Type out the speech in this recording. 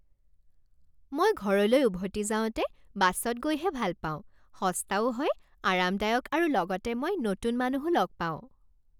মই ঘৰলৈ উভতি যাওঁতে বাছত গৈহে ভাল পাওঁ। সস্তাও হয়, আৰামদায়ক আৰু লগতে মই নতুন মানুহো লগ পাওঁ।